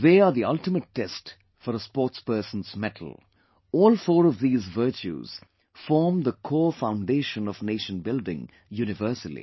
They are the ultimate test for a sportsperson's mettle... all four of these virtues form the core foundation of nation building universally